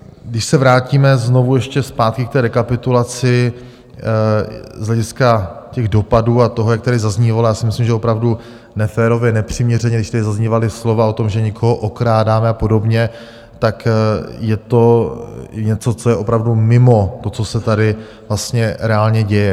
Když se vrátíme znovu ještě zpátky k té rekapitulaci z hlediska těch dopadů a toho, jak tady zaznívalo, já si myslím, že opravdu neférově, nepřiměřeně, když tady zaznívala slova o tom, že někoho okrádáme a podobně, tak je to něco, co je opravdu mimo to, co se tady vlastně reálně děje.